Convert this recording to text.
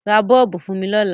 Ra bọ́ọ̀bù fún mi lọ́la.